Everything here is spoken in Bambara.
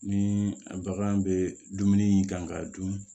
Ni bagan bɛ dumuni kan ka dun